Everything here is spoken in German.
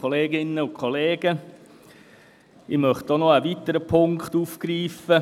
Ich möchte noch einen weiteren Punkt aufgreifen.